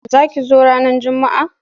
Za ki zo ranar Juma'a.